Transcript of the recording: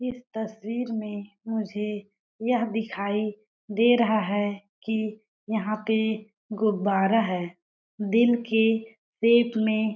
इस तस्वीर में मुझे यह दिखाई दे रहा है कि यहां पे गुब्बारा है दिल के सेप में --